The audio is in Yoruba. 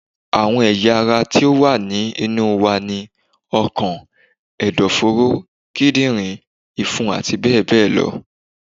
Àwọn ẹ̀yà ara ti ó wà ní inú wa ni: ọkàn, ẹ̀dọ̀-fóró, Kídìrín, ìfun àti bẹ́ẹ̀ bẹ́ẹ̀ lọ